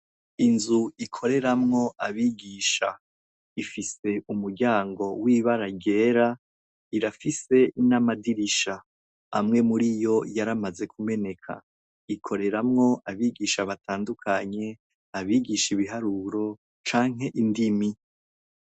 Inzu ikoreramwo abigisha, ifise umuryango w'ibara ryera, irafise n'amadirisha. Amwe mur'iyo, yaramaze kumeneka. Ikoreramwo abigisha batandukanye, abigisha ibiharuro canke indimi.